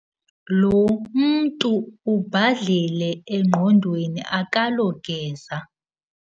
Lo mntu ubhadlile engqondweni akalogeza.